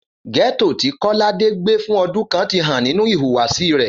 Gẹ́tò tí Kọ́ládé gbé fún ọdún kan ti hàn nínú ìhùwàsí rẹ̀